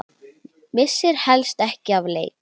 Missir helst ekki af leik.